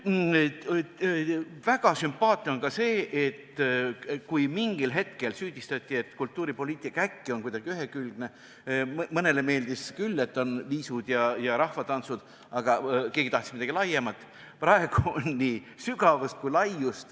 Väga sümpaatne on ka see, et kui mingil hetkel süüdistati, et kultuuripoliitika on kuidagi ühekülgne – mõnele meeldis küll, et on viisud ja rahvatantsud, aga keegi tahtis midagi laiemat –, siis praegu on nii sügavust kui ka laiust.